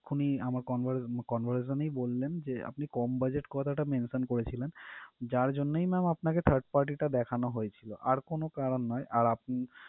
এক্ষুনি আমার conver~ conversation এই বললেন যে আপনি কম budget কথাটা mention করেছিলেন যার জন্যই ma'am আপনাকে third party টা দেখানো হয়েছিল আর কোনো কারণ নয় আর আপনি